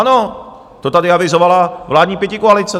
Ano, to tady avizovala vládní pětikoalice.